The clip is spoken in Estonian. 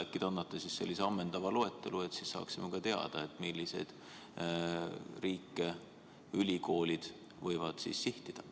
Äkki te annate ammendava loetelu, et saaksime teada, milliseid riike ülikoolid võivad sihtida.